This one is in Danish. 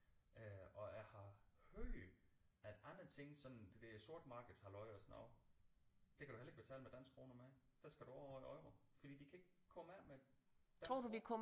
Øh og jeg har hørt at andre ting sådan det der sorte markeds halløj og sådan noget der kan du heller ikke betale med danske kroner mere der skal du over i euro fordi de kan ikke komme af med danske kroner